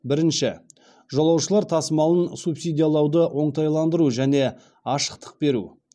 бірінші жолаушылар тасымалын субсидиялауды оңтайландыру және ашықтық беру